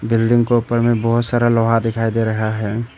Building को ऊपर में बहोत सारा लोहा दिखाई दे रहा है।